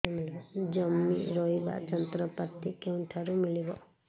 ଜମି ରୋଇବା ଯନ୍ତ୍ରପାତି କେଉଁଠାରୁ ମିଳିବ